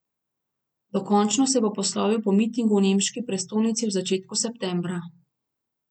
Dokončno se bo poslovil po mitingu v nemški prestolnici v začetku septembra.